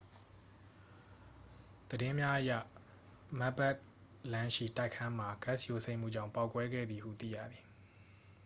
သတင်းများအရ မက်ခ်ဘသ်လမ်းရှိ တိုက်ခန်းမှာ ဂတ်စ် ယိုစိမ့်မှုကြောင့် ပေါက်ကွဲခဲ့သည်ဟု သိရသည်